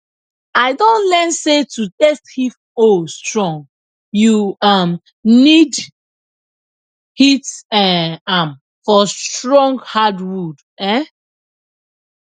i don learn say to test if hoe strong you um need hit um am for strong hardwood um